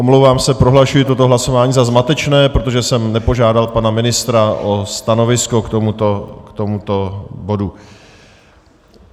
Omlouvám se, prohlašuji toto hlasování za zmatečné, protože jsem nepožádal pana ministra o stanovisko k tomuto bodu.